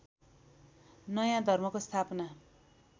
नयाँ धर्मको स्थापना